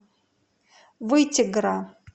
вытегра